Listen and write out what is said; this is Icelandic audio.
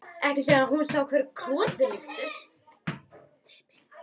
Ekki síðan hún sá hverju krotið líktist.